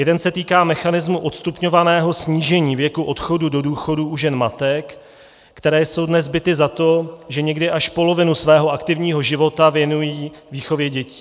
Jeden se týká mechanismu odstupňovaného snížení věku odchodu do důchodu u žen matek, které jsou dnes bity za to, že někdy až polovinu svého aktivního života věnují výchově dětí.